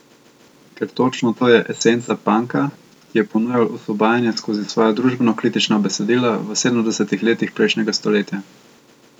Ker točno to je esenca panka, ki je ponujal osvobajanje skozi svoja družbenokritična besedila v sedemdesetih letih prejšnjega stoletja.